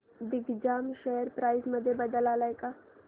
Digjam share price मध्ये बदल आलाय का